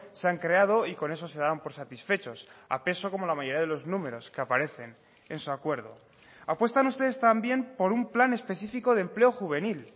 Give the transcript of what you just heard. se han creado y con eso se dan por satisfechos a peso como la mayoría de los números que aparecen en su acuerdo apuestan ustedes también por un plan específico de empleo juvenil